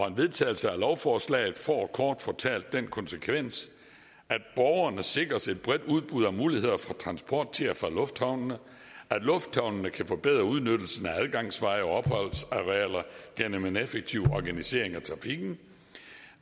en vedtagelse af lovforslaget får kort fortalt den konsekvens at borgerne sikres et bredt udbud af muligheder for transport til og fra lufthavnene at lufthavnene kan forbedre udnyttelsen af adgangsveje og opholdsarealer gennem en effektiv organisering af trafikken